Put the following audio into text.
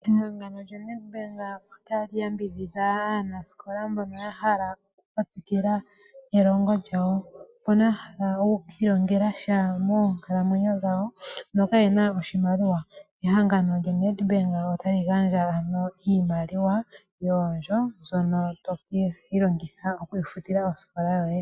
Ehangano lyoNedbank otali yambidhidha aanasikola mbono yahala okuka tsikila nelongo lyawo mbono yahala okwiilongela sha moonkalamwenyo dhawo noka yena oshimaliwa. Ehangano lyoNedbank otali gandja iimaliwa yoondjo mbyono to vulu okwiifutila osikola yoye.